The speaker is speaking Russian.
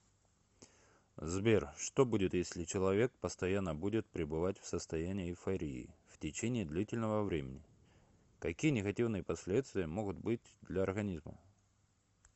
сбер что будет если человек постоянно будет пребывать в состоянии эйфории в течении длительного времени какие негативные последствия могут быть для организма